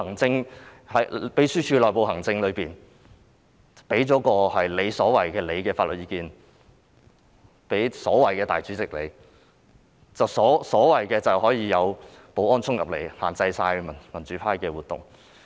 在秘書處的內部行政中，她向所謂的立法會主席提供了她所謂的法律意見，然後所謂的保安人員便可以衝進來限制民主派議員的活動。